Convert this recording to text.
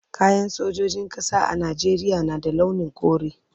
Kayan sojojin ƙasa a Najeriya na da launin kore.